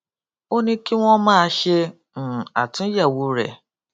ó ní kí wọn máa ṣe um àtúnyẹwò rẹ